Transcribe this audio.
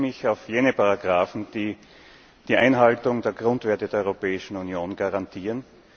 Ich beziehe mich auf jene Artikel, die die Einhaltung der Grundwerte der Europäischen Union garantieren.